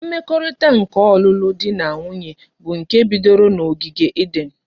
Mmekorita nke olulu di na nwunye bu nke bidoro na ogigi eden